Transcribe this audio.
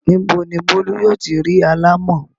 Ní bo ni Bólú yóò ti ri alámọ̀?